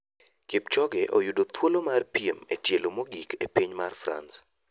Kipchoge oyudo thuolo mar piem e tielo mgok e piny mar France.